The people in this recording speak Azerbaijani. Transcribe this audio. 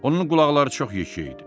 Onun qulaqları çox yekə idi.